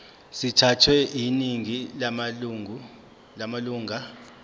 sithathwe yiningi lamalunga